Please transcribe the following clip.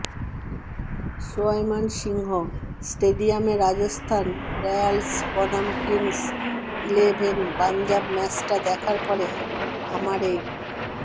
সোয়াই মান সিংহ স্টেডিয়ামে রাজস্থান রয়্যালস বনাম Kings Eleven Punjab ম্যাচটা দেখার পরে আমার এই